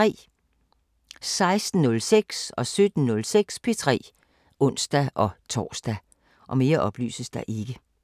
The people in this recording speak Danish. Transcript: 16:06: P3 (ons-tor) 17:06: P3 (ons-tor)